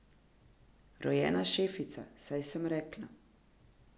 Rojena šefica, saj sem rekla.